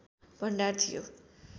भण्डार थियो